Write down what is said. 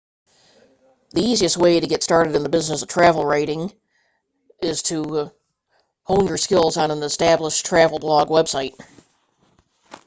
the easiest way to get started in the business of travel writing is to hone your skills on an established travel blog website